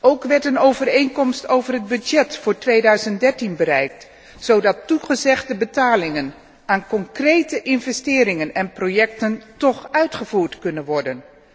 Ook werd een overeenkomst over de begroting voor 2013 bereikt, zodat toegezegde betalingen aan concrete investeringen en projecten toch uitgevoerd kunnen worden.